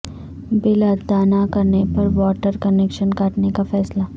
بل ادا نہ کرنے پر واٹر کنکشن کاٹنے کا فیصلہ